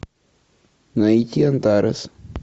найти антарес